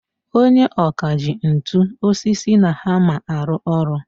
Onye ọkà ji ntu, osisi na hammer arụ ọrụ.